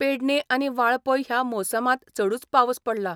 पेडणें आनी वाळपय या मोसमांत चडूच पावस पडला.